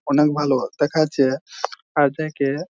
অনেক ভালো দেখা যাচ্ছে এর দেখে--